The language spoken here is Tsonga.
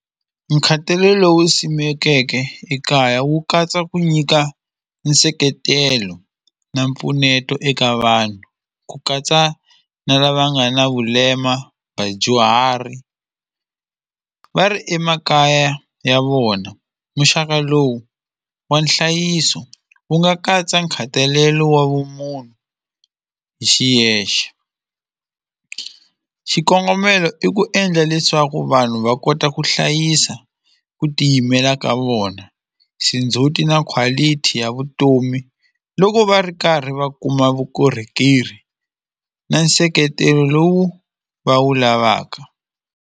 Nkhatalelo wu simekiweke ekaya wu katsa ku nyika nseketelo na mpfuneto eka vanhu ku katsa na lava nga na vulema vadyuhari va ri emakaya ya vona muxaka lowu wa nhlayiso wu nga katsa nkhatalelo wa vumunhu hi xiyexe xikongomelo i ku endla leswaku vanhu va kota ku hlayisa ku tiyimela ka vona xindzhuti na quality ya vutomi loko va ri karhi va kuma vukorhokeri na nseketelo lowu va wu lavaka.